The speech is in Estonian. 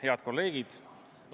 Head kolleegid!